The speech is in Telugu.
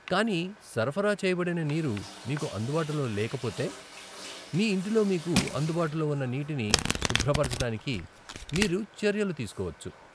కానీ సరఫరా చేయబడిన నీరు మీకు అందుబాటులో లేకపోతే, మీ ఇంటిలో మీకు అందుబాటులో ఉన్న నీటిని శుభ్రపరచడానికి మీరు చర్యలు తీసుకోవచ్చు.